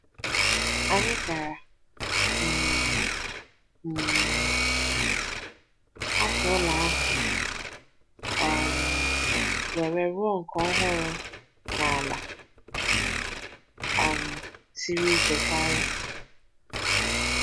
Anyị gaara um um ahapụ ụlọ ahụ um wee rụọ nke ọhụrụ n’ala um siri ike karị.